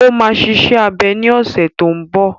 Ó máa ṣe iṣẹ́ abẹ ní ọ̀sẹ̀ tó n bọ̀